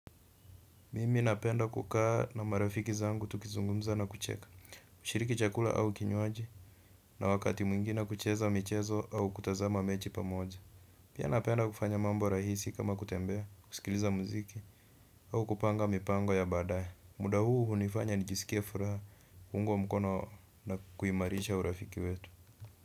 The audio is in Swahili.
Mimi napenda kukaa na marafiki zangu tukizungumza na kucheka, kushiriki chakula au kinywaji. Na wakati mwingine kucheza michezo au kutazama mechi pamoja. Pia napenda kufanya mambo rahisi kama kutembea, kusikiliza muziki au kupanga mipango ya baadaye. Muda huu hunifanya nijisikie furaha, kuungwa mkono na kuimarisha urafiki wetu.